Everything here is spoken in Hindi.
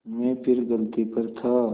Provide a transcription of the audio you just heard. मैं फिर गलती पर था